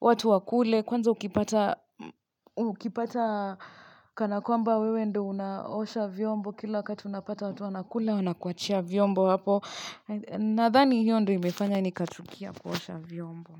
watu wakule kwanza ukipata ukipata kana kwamba wewe ndio unaosha vyombo kila wakati unapata watu wanakula wanakuachia vyombo hapo nadhani hiyo ndio imefanya nikachukia kuosha vyombo.